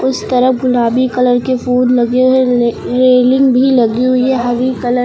उस तरफ गुलाबी कलर के फूल लगे हुए हैं रेलिंग भी लगी हुई है हरी कलर --